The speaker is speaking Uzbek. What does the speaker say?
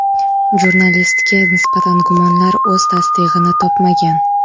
Jurnalistga nisbatan gumonlar o‘z tasdig‘ini topmagan.